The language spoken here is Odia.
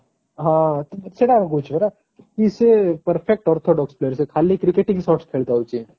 ହଁ ସେଟା କୁ କହୁଛି ପରା ସେଟା କି ସେ perfect orthodox player ସେ ଖାଲି cricketing shots ଖେଳି ଥାଉଛି